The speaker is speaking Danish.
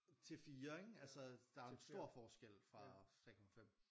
Til 4 ikke altså der er jo stor forskel fra 3,5